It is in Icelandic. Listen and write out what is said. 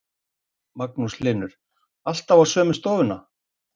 Magnús Hlynur: Alltaf á sömu stofuna?